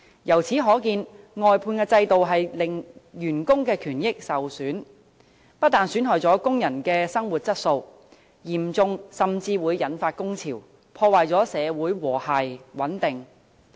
由此可見，外判制度令員工權益受損，不但損害工人的生活質素，嚴重時甚至會引發工潮，破壞社會和諧穩定。